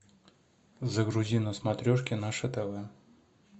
загрузи на смотрешке наше тв